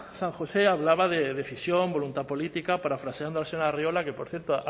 san josé hablaba de decisión voluntad política parafraseando al señor arriola que por cierto